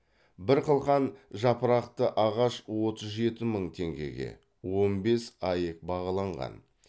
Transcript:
бір қылқан жапырақты ағаш отыз жеті мың теңгеге он бес аек бағаланған